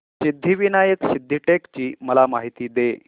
सिद्धिविनायक सिद्धटेक ची मला माहिती दे